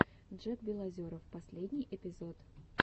джек белозеров последний эпизод